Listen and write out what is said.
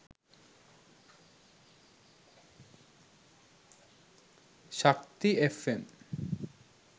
shakthi fm